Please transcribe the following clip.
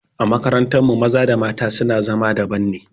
A makarantar mu maza da mata su na zama daban ne